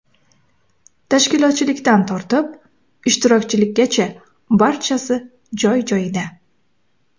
Tashkilotchilikdan tortib, ishtirokchilargacha barchasi joy-joyida.